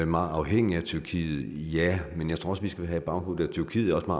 meget afhængige af tyrkiet ja men jeg tror også at vi skal have i baghovedet at tyrkiet også